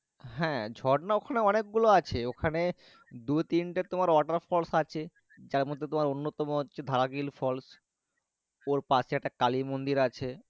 হ্যাঁ ঝর্ণা ওখানে অনেক গুলো আছে ওখানে দু তিন টি তোমার water falls আছে যাই মর্ধে তোমার অন্য তম তোমার অন্য তাম হচ্ছে dharamgiri falls ওর পশে একটি কালী মন্দির আছে।